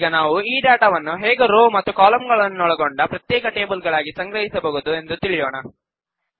ಈಗ ನಾವು ಈ ಡಾಟಾವನ್ನು ಹೇಗೆ ರೋ ಮತ್ತು ಕಾಲಂಗಳನ್ನೊಳಗೊಂಡ ಪ್ರತ್ಯೇಕ ಟೇಬಲ್ ಗಳಾಗಿ ಸಂಗ್ರಹಿಸಬಹುದು ಎಂದು ತಿಳಿಯೋಣ